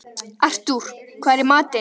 Artúr, hvað er í matinn?